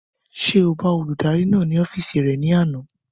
Ṣé o bá olùdarí náà ní ọ́fìsì rẹ̀ ní àná?